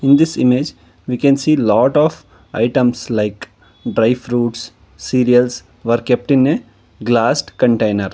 in this image we can see lot of items like dry fruits cereals were kept in a glass container.